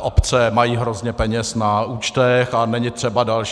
obce mají hrozně peněz na účtech a není třeba další.